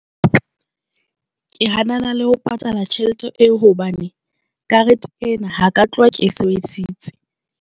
Ke hanana le ho patala tjhelete eo hobane karete ena ha ka tloha ke sebedisitse.